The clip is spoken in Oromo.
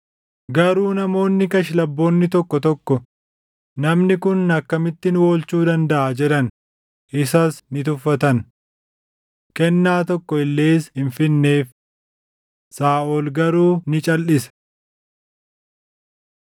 Garuu namoonni kashlabboonni tokko tokko, “Namni kun akkamitti nu oolchuu dandaʼa?” jedhan. Isas ni tuffatan. Kennaa tokko illees hin fidneef. Saaʼol garuu ni calʼise.